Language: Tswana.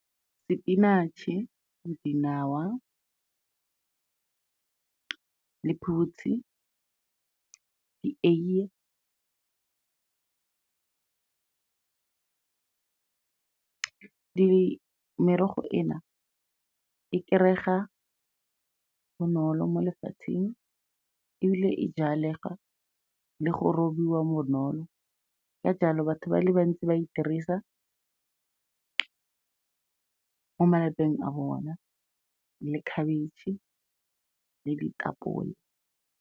Sepinatšhe, dinawa, lephutsi, dieiye merogo ena e kry-ega bonolo mo lefatsheng ebile e jalega le go robiwa bonolo. Ka jalo, batho ba le bantsi ba e dirisa ko malapeng a bona, le khabitšhe le ditapole.